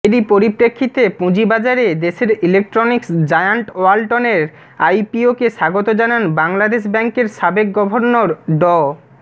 এরই পরিপ্রেক্ষিতে পুঁজিবাজারে দেশের ইলেকট্রনিক্স জায়ান্ট ওয়ালটনের আইপিওকে স্বাগত জানান বাংলাদেশ ব্যাংকের সাবেক গভর্নর ড